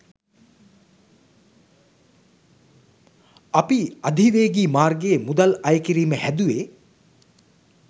අපි අධිවේගීමාර්ගයේ මුදල් අය කිරිම හැදුවේ